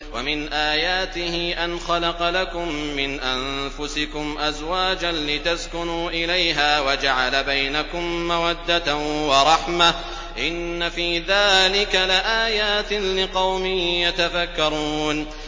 وَمِنْ آيَاتِهِ أَنْ خَلَقَ لَكُم مِّنْ أَنفُسِكُمْ أَزْوَاجًا لِّتَسْكُنُوا إِلَيْهَا وَجَعَلَ بَيْنَكُم مَّوَدَّةً وَرَحْمَةً ۚ إِنَّ فِي ذَٰلِكَ لَآيَاتٍ لِّقَوْمٍ يَتَفَكَّرُونَ